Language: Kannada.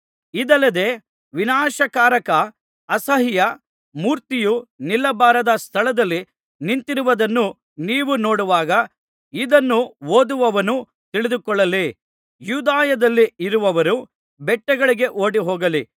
ಇದಲ್ಲದೆ ವಿನಾಶಕಾರಕ ಅಸಹ್ಯ ಮೂರ್ತಿಯು ನಿಲ್ಲಬಾರದ ಸ್ಥಳದಲ್ಲಿ ನಿಂತಿರುವುದನ್ನು ನೀವು ನೋಡುವಾಗ ಇದನ್ನು ಓದುವವನು ತಿಳಿದುಕೊಳ್ಳಲಿ ಯೂದಾಯದಲ್ಲಿ ಇರುವವರು ಬೆಟ್ಟಗಳಿಗೆ ಓಡಿಹೋಗಲಿ